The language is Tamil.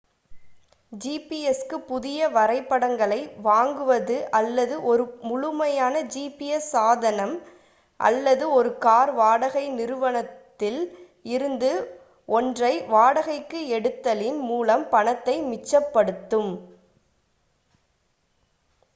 gps-க்கு புதிய வரைபடங்களை வாங்குவது அல்லது ஒரு முழுமையான gps சாதனம் அல்லது ஒரு கார் வாடகை நிறுவனத்தில் இருந்து ஒன்றை வாடகைக்கு எடுத்தலின் மூலம் பணத்தை மிச்சப்படுத்தும்